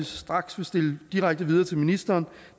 straks vil stille direkte videre til ministeren